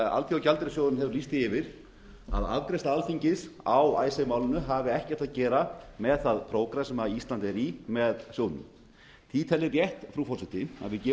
alþjóðagjaldeyrissjóðurinn hefur lýst því yfir að afgreiðsla alþingis á icesave málinu hafi ekkert að gera með það prógramm sem ísland er í með sjóðnum því tel ég rétt frú forseti að við gefum